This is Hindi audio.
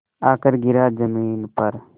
आकर गिरा ज़मीन पर